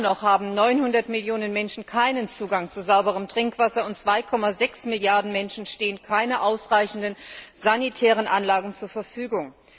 Immer noch haben 900 Millionen Menschen keinen Zugang zu sauberem Trinkwasser, und 2,6 Milliarden Menschen stehen keine ausreichenden sanitären Anlagen zur Verfügung.